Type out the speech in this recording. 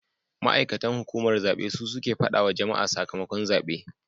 Ma'aikatan hukumar zabe su suke fadawa wa jama'a sakamakon zabe